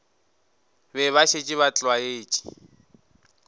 be ba šetše ba tlwaetše